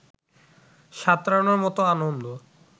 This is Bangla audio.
সাঁতরানোর মত আনন্দ